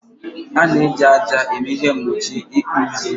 A na-eji ájá eme ihe mgbochi ịkpụzi